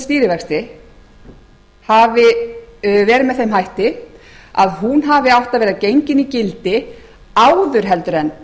stýrivexti hafi verið með þeim hætti að hún hafi átt að vera gengin í gildi áður en